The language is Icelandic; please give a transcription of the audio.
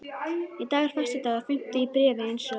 Í dag er föstudagur, fimmti í bréfi, eins og